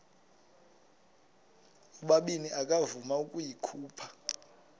ubabini akavuma ukuyikhupha